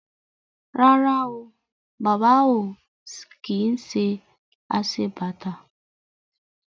Rárá o, Bàbá ò kí ń ṣe aṣebàtà